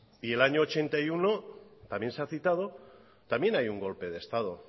y en el año ochenta y uno también se ha citado también hay un golpe de estado